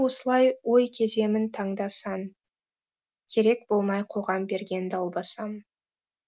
осылай ой кеземін таңда сан керек болмай қоғам берген далбасам